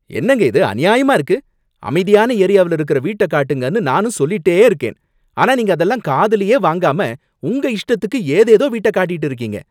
என்னங்க இது அநியாயமா இருக்கு! அமைதியான ஏரியாவுல இருக்குற வீட்ட காட்டுங்கன்னு நானும் சொல்லிட்டே இருக்கேன், ஆனா நீங்க அதெல்லாம் காதுலயே வாங்காம உங்க இஷ்டத்துக்கு ஏதேதோ வீட்ட காட்டிட்டு இருக்கீங்க.